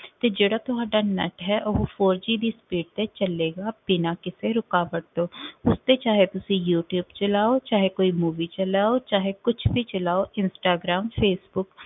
ਤੇ ਜਿਹੜਾ ਤੁਹਾਡਾ net ਹੈ ਉਹ four G ਦੀ speed ਤੇ ਚਲੇਗਾ ਬਿਨਾਂ ਕਿਸੇ ਰੁਕਾਵਟ ਤੋਂ ਉਸਤੇ ਚਾਹੇ ਤੁਸੀ ਯੂ ਟਿਊਬ ਚਲਾਓ ਚਾਹੇ ਕੋਈ movie ਚਲਾਓ ਚਾਹੇ ਕੁਛ ਵੀ ਚਲਾਓ ਇੰਸਟਾਗ੍ਰਾਮ ਫੇਸਬੁੱਕ